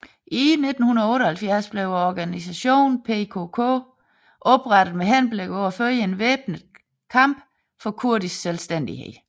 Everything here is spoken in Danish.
I 1978 blev organisationen PKK oprettet med henblik på at føre en væbnet kamp for kurdisk selvstændighed